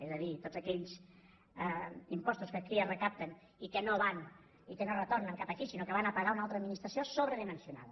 és a dir tots aquells impostos que aquí es recapten i que no retornen cap aquí sinó que van a pagar una altra administració sobredimensionada